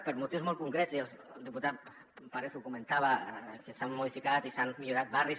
per motius molt concrets i el diputat parés ho comentava que s’han modificat i s’han millorat barris